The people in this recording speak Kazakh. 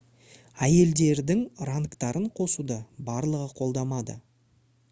әйелдердің рангтарын қосуды барлығы қолдамады